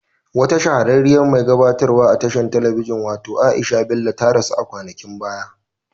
Wata shahara mai gabatarwa a tashar telebijin watau Aisha Bello ta rasu kwanakin baya.